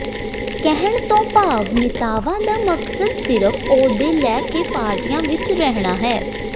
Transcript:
ਕਹਿਣ ਤੋਂ ਭਾਵ ਨੇਤਾਵਾਂ ਦਾ ਮਕਸਦ ਸਿਰਫ਼ ਅਹੁਦੇ ਲੈ ਕੇ ਪਾਰਟੀਆਂ ਵਿਚ ਰਹਿਣਾ ਹੈ